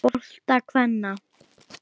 bolta kvenna.